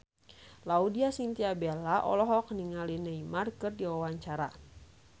Laudya Chintya Bella olohok ningali Neymar keur diwawancara